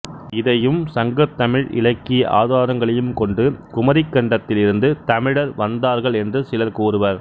இதையும் சங்கத்தமிழ் இலக்கிய ஆதாரங்களையும் கொண்டு குமரிக்கண்டத்தில் இருந்து தமிழர் வந்தார்கள் என்று சிலர் கூறுவர்